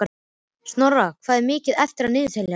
Snorra, hvað er mikið eftir af niðurteljaranum?